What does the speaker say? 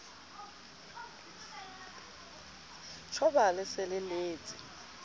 tjhoba le se le letse